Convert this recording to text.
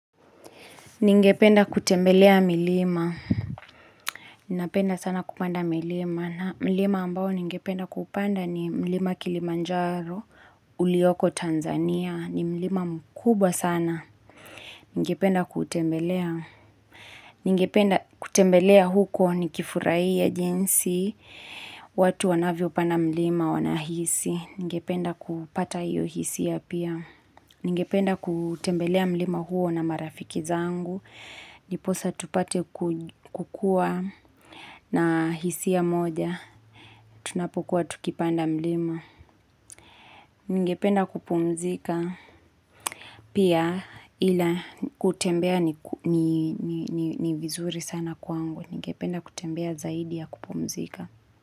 Ningependa kutembelea milima. Ninapenda sana kupanda milima. Na milima ambao ningependa kupanda ni milima Kilimanjaro, Ulioko, Tanzania. Ni milima mkubwa sana. Ningependa kutembelea. Ningependa kutembelea huko ni kifurahi ya jinsi. Watu wanavyopanda milima wanahisi. Ningependa kupata hiyo hisi ya pia. Ningependa kutembelea milima huo na marafiki zangu. Niposa tupate kukua na hisi ya moja, tunapokuwa tukipanda mlima. Ngependa kupumzika pia ila kutembea ni vizuri sana kwangu. Ngependa kutembea zaidi ya kupumzika.